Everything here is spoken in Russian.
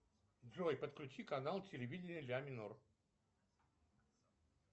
джой подключи канал телевидения ля минор